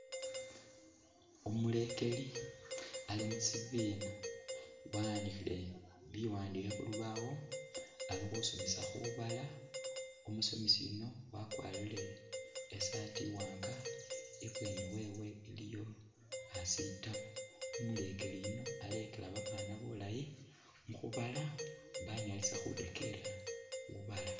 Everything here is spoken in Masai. Umulekeli Ali musibina, wa'andikhile biwandikho khulubawo khasomesa khubala, umusomesa yuuno wakwarile isaatii iwanga ni bweni wewe iliyo sitabu umulekeli yuuno alekela babana bulayi mukhubala banyalisa khutengela